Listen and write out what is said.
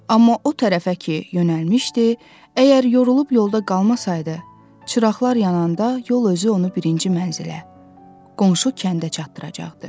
Amma o tərəfə ki yönəlmişdi, əgər yorulub yolda qalmasaydı, çıraqlar yananda yol özü onu birinci mənzilə, qonşu kəndə çatdıracaqdı.